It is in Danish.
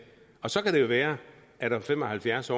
så kan det være at det om fem og halvfjerds